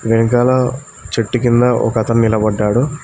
వెనకాల చెట్టు కింద ఒక అతను నిలబడ్డాడు.